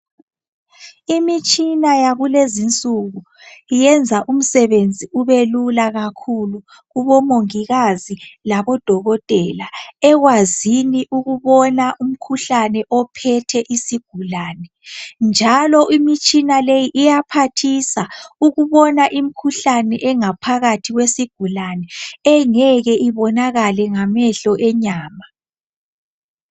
Imitshina yakulezi insuku yenza umsebenzi ubelula kakhulu, kubomongikazi labodokotela. Ekwazini ukubona umkhuhlane ophethe isigulane. Njalo imtshina le iyaphathisa ukubona imikhuhlane, engaphakathi, kwesigulane, Engeke ibonakale ngamehlo enyama.